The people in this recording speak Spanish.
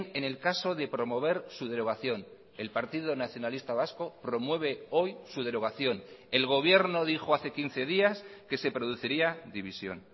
en el caso de promover su derogación el partido nacionalista vasco promueve hoy su derogación el gobierno dijo hace quince días que se produciría división